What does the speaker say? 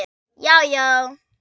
Já já!